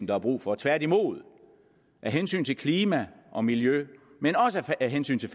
der er brug for tværtimod af hensyn til klima og miljø men også af hensyn til